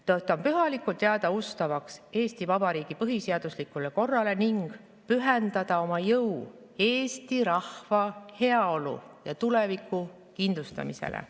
Tõotan pühalikult jääda ustavaks Eesti Vabariigi põhiseaduslikule korrale ning pühendada oma jõu eesti rahva heaolu ja tuleviku kindlustamisele.